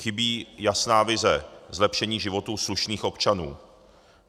Chybí jasná vize zlepšení životů slušných občanů.